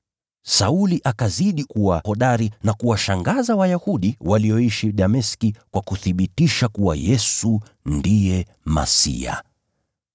Sauli akazidi kuwa hodari na kuwashangaza Wayahudi walioishi Dameski kwa kuthibitisha kuwa Yesu ndiye Kristo.